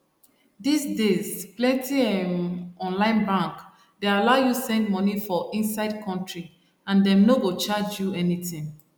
these days plenty um online bank dey allow you send money for inside country and dem no go charge you anything